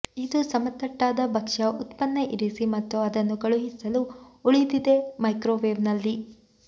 ಇದು ಸಮತಟ್ಟಾದ ಭಕ್ಷ್ಯ ಉತ್ಪನ್ನ ಇರಿಸಿ ಮತ್ತು ಅದನ್ನು ಕಳುಹಿಸಲು ಉಳಿದಿದೆ ಮೈಕ್ರೋವೇವ್ನಲ್ಲಿ